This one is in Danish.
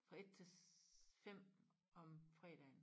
Fra 1 til 5 om fredagen